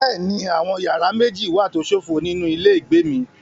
Bẹ́ẹ̀ni, àwọn yàrá méjì wà tó ṣófo nínú ilé ìgbé mi.